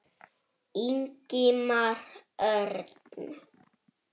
Ingimar Örn.